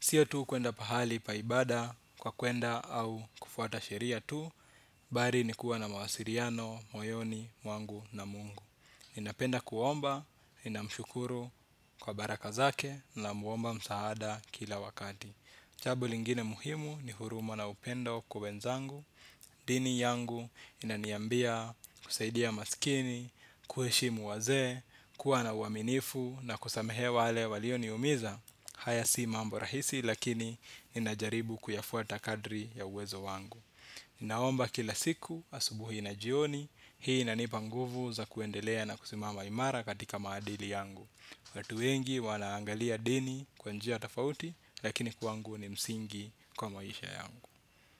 Sio tu kuenda pahali pa ibada kwa kuenda au kufuata sheria tu. Bali ni kuwa na mawasiliano, moyoni, mwangu na mungu. Ninapenda kuomba, nina mshukuru kwa baraka zake namuomba msaada kila wakati. Jambo lingine muhimu ni huruma na upendo kwa wenzangu. Dini yangu inaniambia kusaidia masikini, kuheshimu wazee, kuwa na uaminifu na kusamehea wale walioniumiza. Haya si mambo rahisi lakini ninajaribu kuyafuata kadri ya uwezo wangu. Ninaomba kila siku asubuhi na jioni, hii inanipa nguvu za kuendelea na kusimama imara katika maadili yangu. Watu wengi wanaangalia dini kwa njia tofauti lakini kwangu ni msingi kwa maisha yangu.